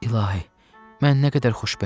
İlahi, mən nə qədər xoşbəxtəm!